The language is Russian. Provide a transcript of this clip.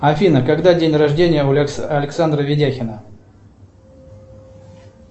афина когда день рождения у александра ведяхина